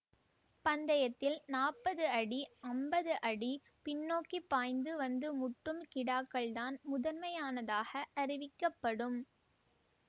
பந்தயத்தில் நாற்பது அடி ஐம்பது அடி பின்னோக்கிப்பாய்ந்து வந்து முட்டும் கிடாக்கள் தான் முதன்மையானதாக அறிவிக்கப்படும்